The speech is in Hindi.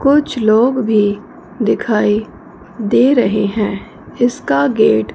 कुछ लोग भी दिखाई दे रहे हैं इसका गेट --